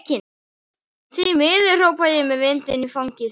Því miður, hrópa ég með vindinn í fangið.